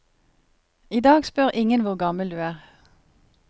I dag spør ingen hvor gammel du er.